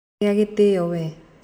Gĩa gĩtĩo we.